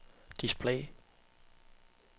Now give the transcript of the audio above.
display